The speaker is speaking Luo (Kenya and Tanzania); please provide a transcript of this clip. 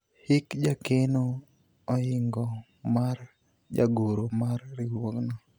hik jakeno oingo mar jagoro mar riwruogno